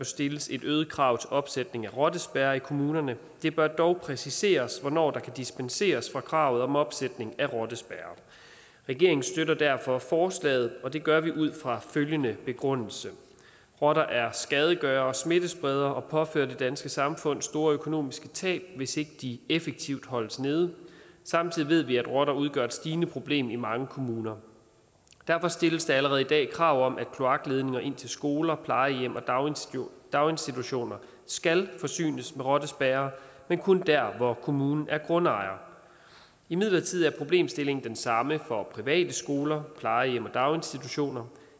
stilles et øget krav til opsætning af rottespærrer i kommunerne det bør dog præciseres hvornår der kan dispenseres fra kravet om opsætning af rottespærrer regeringen støtter derfor forslaget og det gør vi ud fra følgende begrundelse rotter er skadegørere og smittespredere og påfører det danske samfund store økonomiske tab hvis ikke de effektivt holdes nede samtidig ved vi at rotter udgør et stigende problem i mange kommuner derfor stilles der allerede i dag krav om at kloakledninger ind til skoler plejehjem og daginstitutioner skal forsynes med rottespærrer men kun der hvor kommunen er grundejer imidlertid er problemstillingen den samme for private skoler plejehjem og daginstitutioner